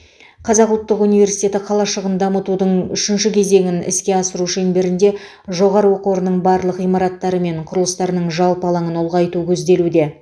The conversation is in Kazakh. қазақ ұлттық университеті қалашығын дамытудың үшінші кезегін іске асыру шеңберінде жоғары оқу орнының барлық ғимараттары мен құрылыстарының жалпы алаңын ұлғайту көзделуде